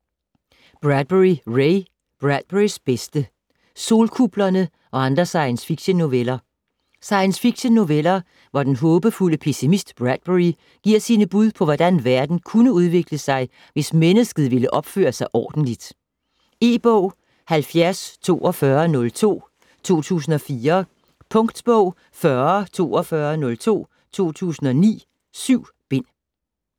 Bradbury, Ray: Bradburys bedste: Solkuplerne og andre science fiction-noveller Science fiction-noveller, hvor den håbefulde pessimist Bradbury giver sine bud på hvordan verden kunne udvikle sig, hvis mennsket ville opføre sig ordentligt. E-bog 704202 2004. Punktbog 404202 2009. 7 bind.